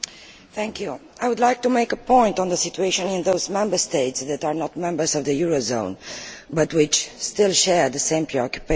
Mr President, I would like to make a point on the situation in those Member States that are not members of the eurozone but which still share the same preoccupation.